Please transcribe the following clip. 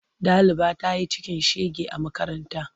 Ɗaliba ta yi cikin shega a makaranta.